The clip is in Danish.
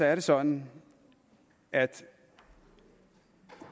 er det sådan at